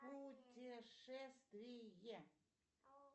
путешествие